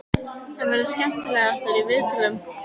Hver verður skemmtilegastur í viðtölum?